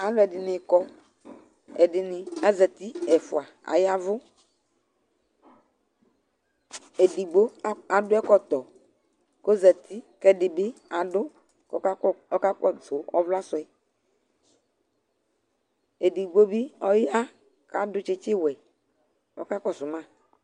Alʋɛdɩnɩ kɔ Ɛdɩnɩ azati Ɛfʋa aya ɛvʋ Edigbo ak adʋ ɛkɔtɔ kʋ ɔzati kʋ ɛdɩ bɩ adʋ kʋ ɔkad ɔkakɔsʋ ɔvla sʋ yɛ Edigbo bɩ ɔya kʋ adʋ tsɩtsɩwɛ kʋ ɔkakɔsʋ ma